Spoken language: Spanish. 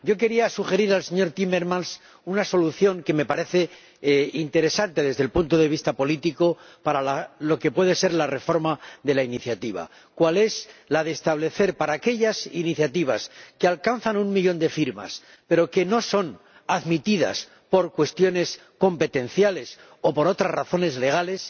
Yo quería sugerir al señor Timmermans una solución que me parece interesante desde el punto de vista político para lo que puede ser la reforma de la iniciativa, cual es la de establecer que, a aquellas iniciativas que alcanzan un millón de firmas pero que no son admitidas por cuestiones competenciales o por otras razones legales,